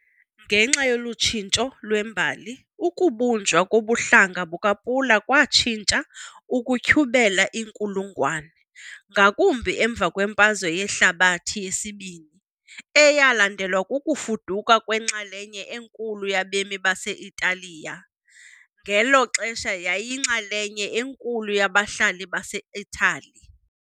Ngenxa yolu tshintsho lwembali, ukubunjwa kobuhlanga bukaPula kwatshintsha ukutyhubela iinkulungwane, ngakumbi emva kweMfazwe Yehlabathi yesiBini, eyalandelwa kukufuduka kwenxalenye enkulu yabemi base-Italiya, ngelo xesha yayiyinxalenye enkulu yabahlali baseItali.